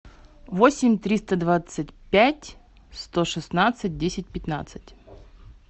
восемь триста двадцать пять сто шестнадцать десять пятнадцать